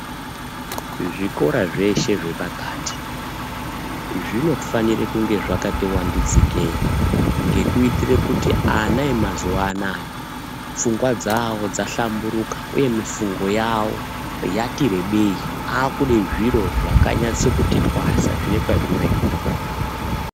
Zvikora zveshe zvepakati zvinofana kunge zvakati vandudzikei ngekuitire kuti ana emazuwanaya pfungwa dzavo dza hlamburuka uye mufungo yavo yatirebei akude zviro zvakanasa kuti twasa zvine kwazvinoenda.